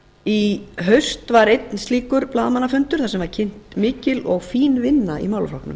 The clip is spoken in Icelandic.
í haust var einn slíkur blaðamannafundur þar sem var kynnt fín og mikil vinna í málaflokknum